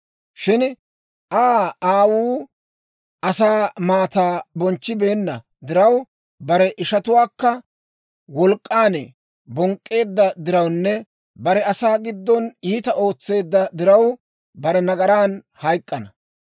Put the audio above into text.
Shin Aa aawuu asaa maataa bonchchibeenna diraw, bare ishatuwaakka wolk'k'an bonk'k'eedda dirawunne bare asaa giddon iitaa ootseedda diraw, bare nagaran hayk'k'ana.